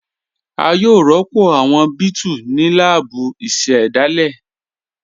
À yòó rọ́pọ̀ awọn bẹẹ̀tù ní lààbù ìṣẹ̀dáilé